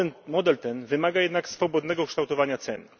Model ten wymaga jednak swobodnego kształtowania cen.